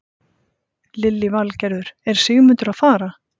Lillý Valgerður: Er Sigmundur að fara?